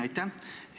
Aitäh!